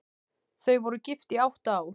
Þau voru gift í átta ár.